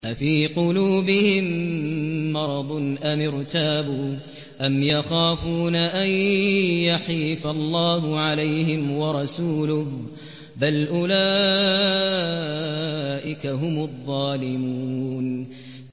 أَفِي قُلُوبِهِم مَّرَضٌ أَمِ ارْتَابُوا أَمْ يَخَافُونَ أَن يَحِيفَ اللَّهُ عَلَيْهِمْ وَرَسُولُهُ ۚ بَلْ أُولَٰئِكَ هُمُ الظَّالِمُونَ